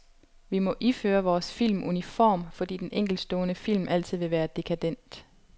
Vi må iføre vores film uniform, fordi den enkeltstående film altid vil være dekadent.